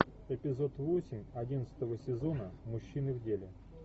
эпизод восемь одиннадцатого сезона мужчины в деле